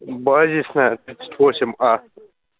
базисная тридцать восемь а